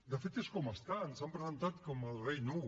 de fet és com estan s’han presentat com el rei nu